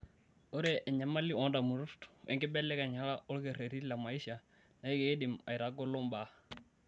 Ore enyamali oondamunot wenkibelekenyata olkereti le maisha naa keidim aitagolo mbaa.